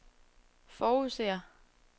forudser